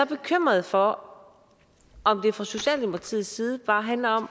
bekymret for om det fra socialdemokratiets side bare handler om